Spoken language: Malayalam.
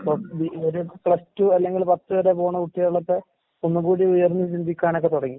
ഇവര് പ്ലസ് ടു അല്ലെങ്കില് പത്ത് വരെ പോണ കുട്ടികളൊക്കെ ഒന്നുകൂടി ഉയർന്ന് ചിന്തിക്കാനൊക്കെ തൊടങ്ങി.